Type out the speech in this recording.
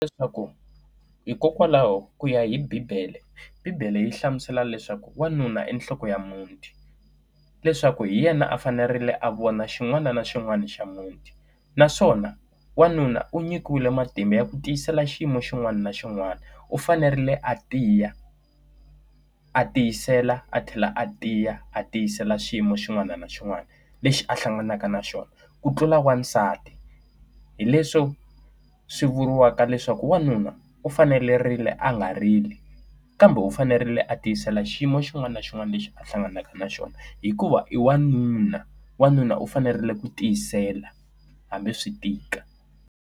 Hileswaku hikokwalaho ku ya hi bibele, bibele yi hlamusela leswaku wanuna i nhloko ya muti, leswaku hi yena a fanerile a vona xin'wana na xin'wana xa muti naswona wanuna u nyikiwile matimba ya ku tiyisela xiyimo xin'wana na xin'wana, u fanerile a tiya, a tiyisela, a tlhela a tiya, a tiyisela xiyimo xin'wana na xin'wana lexi a hlanganaka na xona ku tlula wasati. Hi leswo swi vuriwaka leswaku wanuna u fanerile a nga rili, kambe u fanerile a tiyisela xiyimo xin'wana na xin'wana lexi a hlanganaka na xona hikuva i wanuna. Wanuna u fanerile ku tiyisela hambi swi tika.